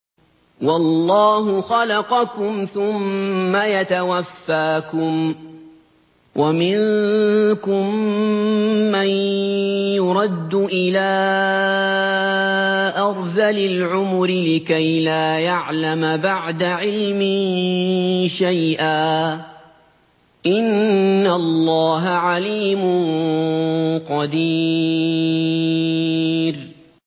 وَاللَّهُ خَلَقَكُمْ ثُمَّ يَتَوَفَّاكُمْ ۚ وَمِنكُم مَّن يُرَدُّ إِلَىٰ أَرْذَلِ الْعُمُرِ لِكَيْ لَا يَعْلَمَ بَعْدَ عِلْمٍ شَيْئًا ۚ إِنَّ اللَّهَ عَلِيمٌ قَدِيرٌ